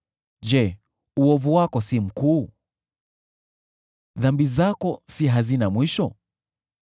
Je, uovu wako si mkuu? Dhambi zako si hazina mwisho?